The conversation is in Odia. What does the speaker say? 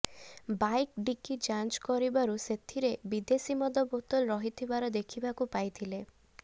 ବାଇକ ଡିକି ଯାଞ୍ଚ କରିବାରୁ ସେଥିରେ ବିଦେଶି ମଦ ବୋତଲ ରହିଥିବାର ଦେଖିବାକୁ ପାଇଥିଲେ